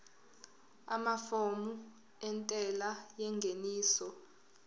amafomu entela yengeniso